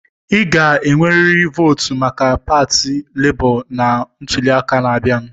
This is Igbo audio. Ị ga-enwerịrị votu maka pati Lebo na ntuli aka na-abịa!